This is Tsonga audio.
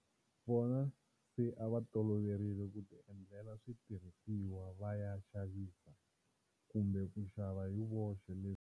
Vona se a va toloverile ku ti endlela switirhisiwa va ya xavisa kumbe ku xava hi voxe.